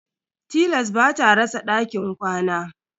Tilas ba ta rasa dakin kwana.